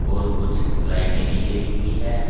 और कुछ लाइटें भी जली हुई है।